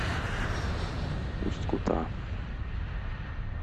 усть кута